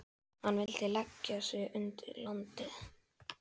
Hann vill leggja undir sig landið.